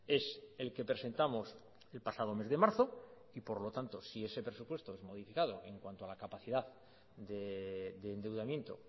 es el que presentamos el pasado mes de marzo y por lo tanto si ese presupuesto es modificado en cuanto a la capacidad de endeudamiento